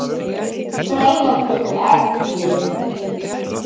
Sæfari getur átt við